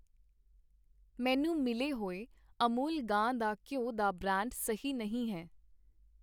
ਮੈਨੂੰ ਮਿਲੇ ਹੋਏ ਅਮੂਲ ਗਾਂ ਦਾ ਘਿਓ ਦਾ ਬ੍ਰਾਂਡ ਸਹੀ ਨਹੀਂ ਹੈ